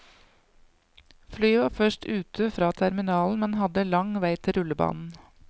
Flyet var først ut fra terminalen, men hadde lang vei til rullebanen.